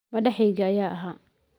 Madaxayga ayaa ahaa.